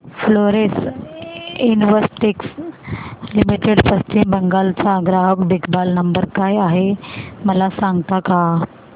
Florence Investec limited Paschim Bangal चा ग्राहक देखभाल नंबर काय आहे मला सांगता का